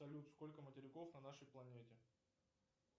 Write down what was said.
салют сколько материков на нашей планете